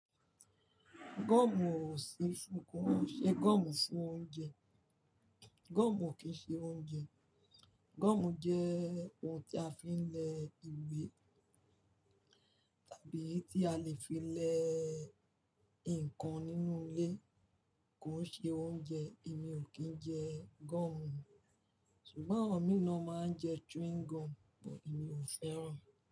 Gum ò sí fún-- kò ṣe gum fún oúnjẹ. Gum ò kín ṣe oúnjẹ. Gum jẹ́ ohun tí a fi ń lẹ ìwé tàbí tí a lè fi lẹ nǹkan nínú ilé, kò ṣe oúnjẹ. Èmi ò kín jẹ gum. Ṣùgbọ́n àwọn mìíràn máa ń jẹ chewing gum, ṣùgbọ́n èmi ò fẹ́ràn.